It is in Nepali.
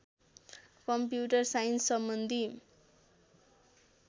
कम्प्युटर साइन्ससम्बन्धी